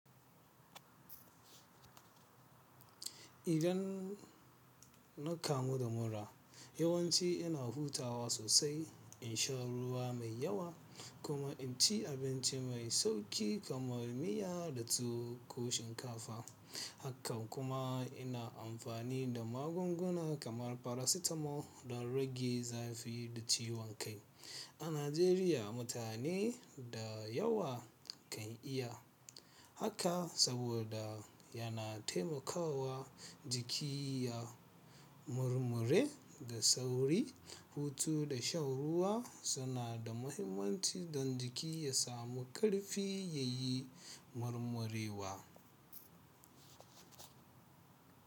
Idan na kamu da mura, yawanci ina hutawa sosai, in sha ruwa mai yawa kuma in ci abinci mai sauƙi kaman miya da tuwo ko shinkafa. Hakan kuma ina amfani da magunguna kaman paracetamol don rage zafi da ciwon kai. A Najeriya mutane da yawa kan iya haka saboda yana taimakawa jiki ya murmure da sauri. Hutu da shan ruwa suna da mahimmanci don jiki ya samu ƙarfi ya yi murmurewa.